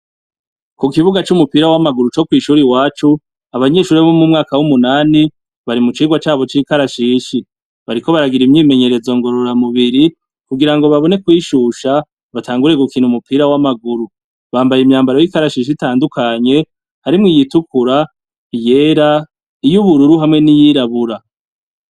Ku kibuga c'umupira w'amaguru co kw'ishuri wacu abanyeshuri bo mu mwaka w'umunani bari mu cigwa cabo c'ikarashishi. Bariko baragira imyimenyerezo ngororamubiri kugira ngo babone kwishusha batangure gukina umupira w'amaguru. Bambaye imyambaro y'ikarashishi itandukanye harimwo iyitukura, iyera, iy' ubururu hamwe n'iyirabura.